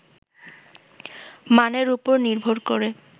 মানের ওপর নির্ভর করে